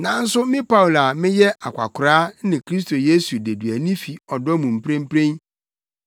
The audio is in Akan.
nanso me Paulo a meyɛ akwakoraa ne Kristo Yesu deduani fi ɔdɔ mu mprempren